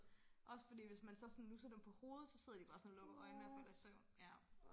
også fordi hvis man så sådan nusser dem på hovedet så sidder de bare sådan og lukker øjnene og falder i søvn ja